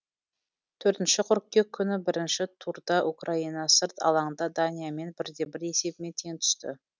төртінші қыркүйек күнгі бірінші турда украина сырт алаңда даниямен бір де бір есебімен тең түсті